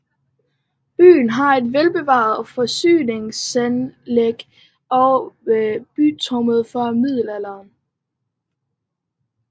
Byen har et velbevaret fæstningsanlæg og bycentrum fra middelalderen